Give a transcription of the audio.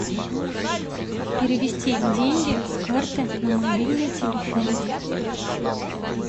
перевести деньги с карты на мобильный телефон